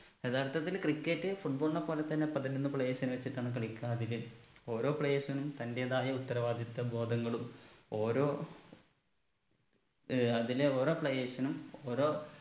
യഥാർത്ഥത്തിൽ cricket football നെ പോലെത്തന്നെ പതിനൊന്ന് players നെ വെച്ചിട്ടാണ് കളിക്ക അതില് ഓരോ players നും തന്റേതായ ഉത്തരവാദിത്വ ബോധങ്ങളും ഓരോ ഏർ അതിലെ ഓരോ players നും ഓരോ